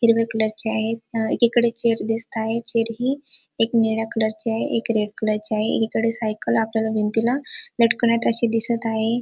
हिरवे colour चे आहेत अ एकीकडे चेयर दिसताहेत चेयर्स ही एक निळ्या कलर ची आहे एक रेड कलर ची आहे एकीकडे सायकल आपल्याला भिंतीला लटकवन्यात असे दिसत आहे.